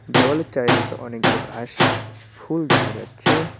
দেওয়ালের চারিদিকে অনেকগুলো ঘাস ফুল দেখা যাচ্ছে।